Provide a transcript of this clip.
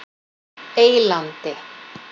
Eylandi